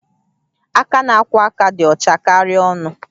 Aka na-akwọ aka dị ọcha karịa ọnụ